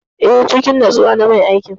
Eh, cikin natsuwa na mai aiki.